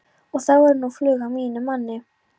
Og þá er nú flug á mínum manni.